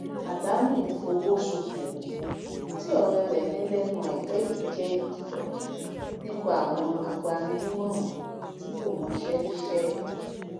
àdánù ifowosokowo tí òré rè ní lénu àìpé yìí jé ìkìlò nípa àwọn agbaninímòràn tí kò mọṣé níṣé